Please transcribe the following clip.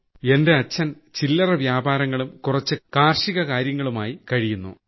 എന്റെ അച്ഛൻ ചില്ലറ വ്യാപാരങ്ങളും കുറച്ച് കൃഷികാര്യങ്ങളുമായി കഴിയുന്നു